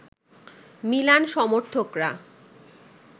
Milan সমর্থকরা